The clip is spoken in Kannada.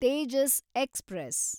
ತೇಜಸ್ ಎಕ್ಸ್‌ಪ್ರೆಸ್